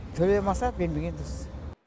төлей алмаса бермегені дұрыс